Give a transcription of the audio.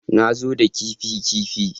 Na zo da kifi kifi